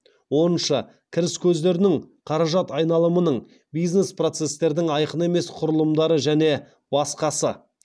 оныншы кіріс көздерінің қаражат айналымының бизнес процестердің айқын емес құрылымдары және басқасы